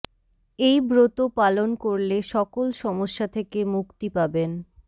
এই ব্রত পালন করলে সকল সমস্যা থেকে মুক্তি পাবেন